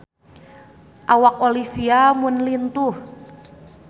Awak Olivia Munn lintuh